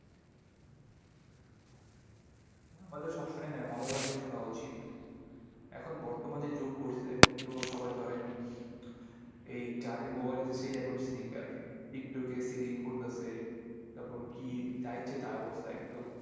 আমাদের সবসময় হ্যাঁ ভালো গানই শোনা উচিত। এখন বর্তমান যে যুগ পরসে এখন তো সবাই ধরেন এই যারই mobile আছে, সেই এখন singer, Tik Tok এ singing করতাসে। তারপর কি যা ইচ্ছে তাই অবস্থা একদম ।